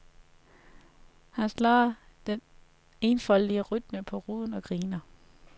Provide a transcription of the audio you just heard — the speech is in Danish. Han slår den enfoldige rytme på ruden og griner.